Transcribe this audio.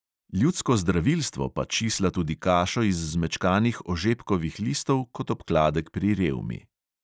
Ljudsko zdravilstvo pa čisla tudi kašo iz zmečkanih ožepkovih listov kot obkladek pri revmi.